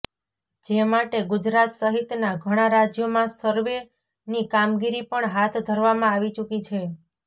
જે માટે ગુજરાત સહિતના ઘણા રાજ્યોમાં સર્વેની કામગીરી પણ હાથ ધરવામાં આવી ચૂકી છે